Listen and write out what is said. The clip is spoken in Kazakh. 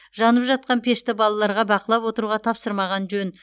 жанып жатқан пешті балаларға бақылап отыруға тапсырмаған жөн